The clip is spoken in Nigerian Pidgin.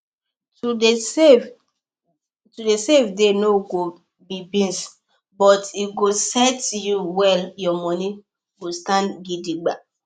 to dey save dey go no be beans but e go set you well your money go stand gidigba